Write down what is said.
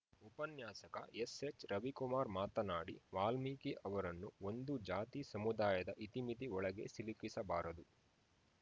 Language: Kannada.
ಉಪನ್ಯಾಸಕ ಎಸ್‌ಎಚ್‌ರವಿಕುಮಾರ್‌ ಮಾತನಾಡಿ ವಾಲ್ಮಿಕಿ ಅವರನ್ನು ಒಂದು ಜಾತಿ ಸಮುದಾಯದ ಇತಿಮಿತಿ ಒಳಗೆ ಸಿಲುಕಿಸಬಾರದು